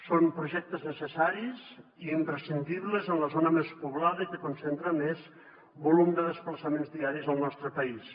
són projectes necessaris i imprescindibles en la zona més poblada i que concentra més volum de desplaçaments diaris al nostre país